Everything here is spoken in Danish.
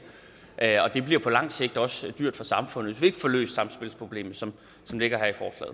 det bliver på lang sigt også dyrt for samfundet vi får løst samspilsproblemet som det ligger